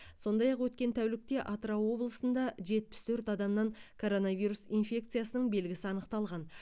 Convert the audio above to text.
сондай ақ өткен тәулікте атырау облысында жетпіс төрт адамнан коронавирус инфекциясының белгісі анықталған